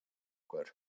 Sigtryggur